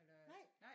Nej